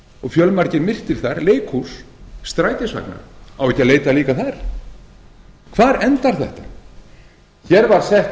og fjölmargir myrtir þar leikhús strætisvagnar á ekki að leita líka þar hvar endar þetta hér var